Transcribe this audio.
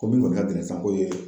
Ko minnu tun ka gɛlɛn sisan k'o ye